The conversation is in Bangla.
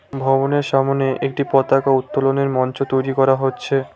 ভবনের সামোনে একটি পতাকা উত্তোলনের মঞ্চ তৈরি করা হচ্ছে।